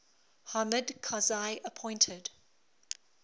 hamid karzai appointed